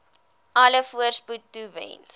alle voorspoed toewens